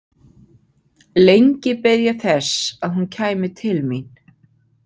Lengi beið ég þess að hún kæmi til mín.